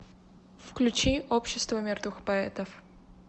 включи общество мертвых поэтов